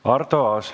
Arto Aas.